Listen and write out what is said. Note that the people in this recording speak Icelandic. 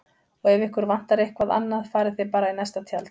Og ef ykkur vantar eitthvað annað farið þið bara í næsta tjald